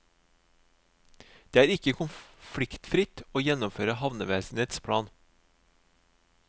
Det er ikke konfliktfritt å gjennomføre havnevesenets plan.